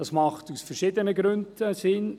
Dies macht aus verschiedenen Gründen Sinn.